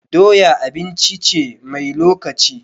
Doya abinci ce mai lokaci.